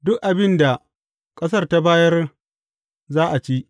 Duk abin da ƙasar ta bayar za a ci.